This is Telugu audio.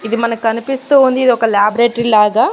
ఇది మనకు కనిపిస్తూ ఉంది ఇది ఒక లాబరేటరీ లాగా.